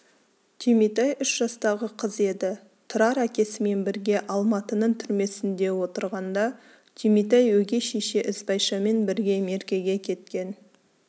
түйметай үш жастағы қыз еді тұрар әкесімен бірге алматының түрмесінде отырғанда түйметай өгей шеше ізбайшамен бірге меркеге кеткен